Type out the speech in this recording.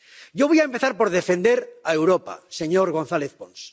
Yo voy a empezar por defender a Europa, señor González Pons.